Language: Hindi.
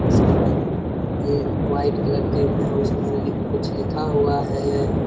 उसके बाद ये व्हाइट कलर के में है उसमें कुछ लिखा हुआ है।